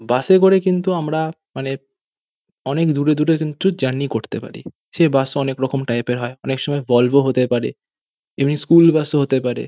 বাস -এ করে কিন্তু আমরা মানে অনেক অনেক দূরে দূরে কিন্তু জার্নি করতে পারি সে বাস অনেক রকম টাইপ -এর হয় অনেক সময় ভল্ভ হতে পারে এমনি স্কুল বাস ও হতে পারে।